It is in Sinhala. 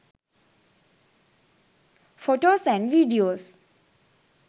photos and videos